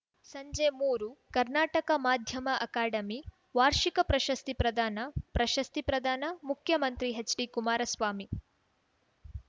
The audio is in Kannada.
ಸಂಜೆ ಮೊರು ಕರ್ನಾಟಕ ಮಾಧ್ಯಮ ಅಕಾಡೆಮಿ ವಾರ್ಷಿಕ ಪ್ರಶಸ್ತಿ ಪ್ರದಾನ ಪ್ರಶಸ್ತಿ ಪ್ರದಾನ ಮುಖ್ಯಮಂತ್ರಿ ಹೆಚ್‌ಡಿಕುಮಾರಸ್ವಾಮಿ